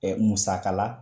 Ɛɛ musakala